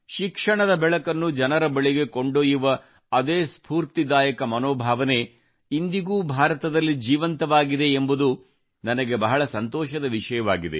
ಶಿಕ್ಷಣದ ಬೆಳಕನ್ನು ಜನರ ಬಳಿಗೆ ಕೊಂಡೊಯ್ಯುವ ಅದೇ ಸ್ಫೂರ್ತಿದಾಯಕ ಮನೋಭಾವನೆಯು ಇಂದಿಗೂ ಭಾರತದಲ್ಲಿ ಜೀವಂತವಾಗಿದೆ ಎಂಬುದು ನನಗೆ ಬಹಳ ಸಂತೋಷದ ವಿಷಯವಾಗಿದೆ